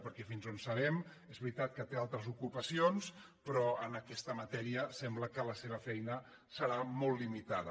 perquè fins on sabem és veritat que té altres ocupacions però en aquesta matèria sembla que la seva feina serà molt limitada